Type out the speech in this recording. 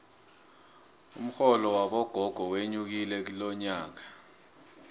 umxholo wabogogo wenyukile lonyakanje